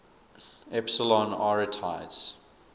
epsilon arietids